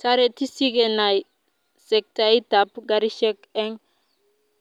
tareti sikenai sektait ab garishek eng